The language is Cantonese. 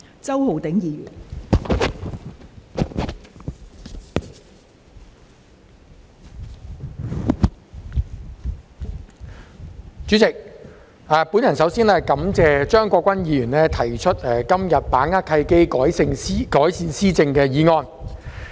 代理主席，首先感謝張國鈞議員今天提出"把握契機，改善施政"的議案。